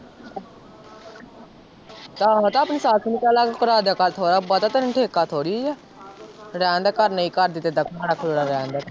ਜਾਂ ਪਤਾ ਆਪਣੀ ਸੱਸ ਨੂੰ ਕਹਿ ਲਿਆ ਕਰ ਕਰਾਂ ਦਿਆਂ ਕਰ ਥੋੜ੍ਹਾ ਪਤਾ ਤੈਨੂੰ ਠੇਕਾ ਥੋੜੀ ਏ, ਰਹਿਣ ਦੇ ਘਰ ਨਹੀਂ ਕਰਦੀ ਤੇ ਦਫ਼ਾ ਕਰ।